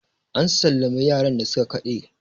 an sallami yaran da suka Kade!